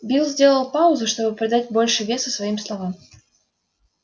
билл сделал паузу чтобы придать больше веса своим словам